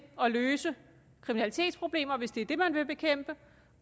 at løse kriminalitetsproblemer hvis det er det man vil bekæmpe